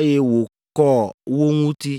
eye wòkɔ wo ŋuti.